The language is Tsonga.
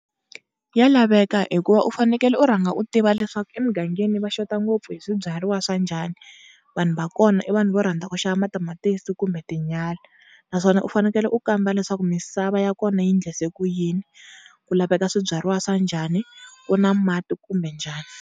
Ya laveka hikuva u fanekele u rhanga u tiva leswaku emugangeni va xota ngopfu hi swibyariwa swa njhani, vanhu va kona i vanhu vo rhandza ku xava matamatisi kumbe tinyala. Naswona u fanekele u kamba leswaku misava ya kona yi endlise ku yini, ku laveka swibyariwa swa njhani, ku na mati kumbe njhani.